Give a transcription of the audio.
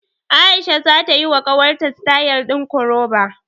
A'isha zata yiwa ƙawarta sitayal ɗin koroba.